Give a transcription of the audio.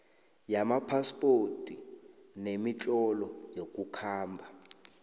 wamaphaspoti nemitlolo yokukhamba